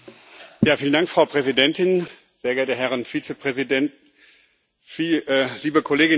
Frau Präsidentin, sehr geehrte Herren Vizepräsidenten, liebe Kolleginnen und Kollegen!